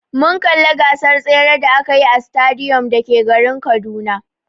Mun kalli gasar tsere da akayi a sitadiyom da ke garin Kaduna.